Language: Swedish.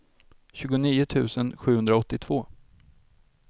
tjugonio tusen sjuhundraåttiotvå